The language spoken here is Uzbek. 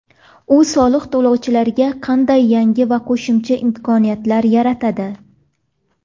U soliq to‘lovchilarga qanday yangi va qo‘shimcha imkoniyatlar yaratadi?